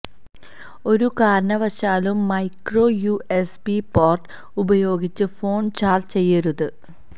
ഒരു കാരണവശാലും micro USB port ഉപയോഗിച്ച് ഫോണ് ചാര്ജ്ജ് ചെയ്യരുത്